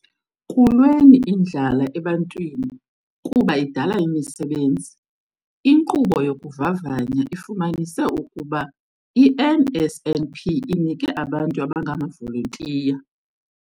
Kulweni indlala ebantwini kuba idala imisebenzi. "Inkqubo yokuvavanya ifumanise ukuba i-NSNP inike abantu abangamavolontiya".